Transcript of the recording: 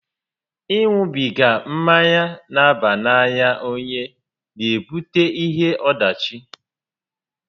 Ị ṅubiga mmanya n'aba n'anya onye n'ebute ihe ọdachi